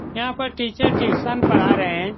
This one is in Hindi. यहाँ पर टीचर ट्शयुन पढ़ा रहें हैं।